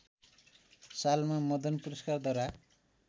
सालमा मदन पुरस्कारद्वारा